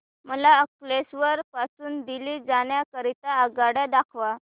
मला अंकलेश्वर पासून दिल्ली जाण्या करीता आगगाडी दाखवा